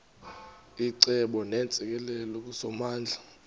icebo neentsikelelo kusomandla